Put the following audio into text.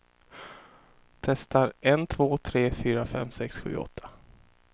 Testar en två tre fyra fem sex sju åtta.